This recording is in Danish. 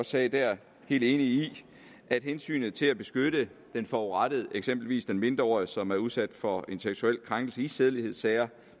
sagde der helt enig i at hensynet til at beskytte den forurettede eksempelvis den mindreårige som er blevet udsat for en seksuel krænkelse i sædelighedssager